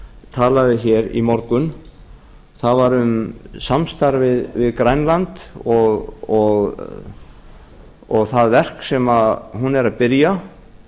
talaði hér í morgun það var um samstarfið við grænland og það verk sem hún er að byrja